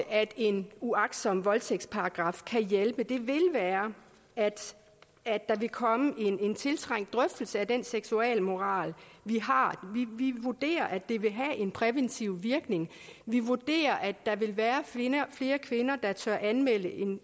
at en uagtsom voldtægtsparagraf kan hjælpe til er at der vil komme en tiltrængt drøftelse af den seksualmoral vi har vi vurderer at det vil have en præventiv virkning vi vurderer at der vil være flere kvinder der tør anmelde